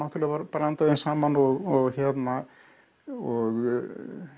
blanda þeim saman og og